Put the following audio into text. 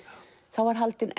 þá var haldin